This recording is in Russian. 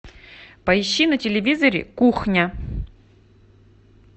поищи на телевизоре кухня